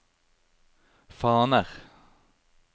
faner